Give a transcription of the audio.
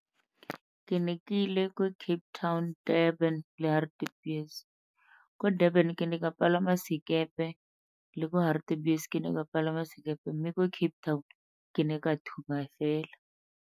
Ke ne ke ile ko Cape Town, Durban le Hartebees. Ko Durban ke ne ka palama sekepe le ko Hartebees ke ne ka palama sekepe mme ko Cape Town ke ne ka thuma fela.